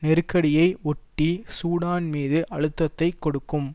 நெருக்கடியை ஒட்டி சூடான் மீது அழுத்தத்தை கொடுக்கும்